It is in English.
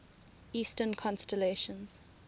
eastern constellations